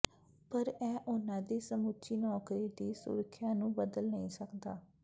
ਪਰ ਇਹ ਉਨ੍ਹਾਂ ਦੀ ਸਮੁੱਚੀ ਨੌਕਰੀ ਦੀ ਸੁਰੱਖਿਆ ਨੂੰ ਬਦਲ ਨਹੀਂ ਸਕਦਾ